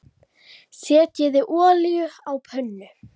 Setjið olíu á pönnu.